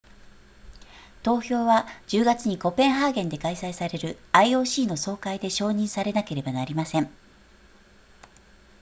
投票は10月にコペンハーゲンで開催される ioc の総会で承認されなければなりません